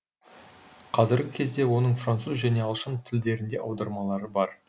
қазіргі кезде оның француз және ағылшын тілдерінде аудармалары бар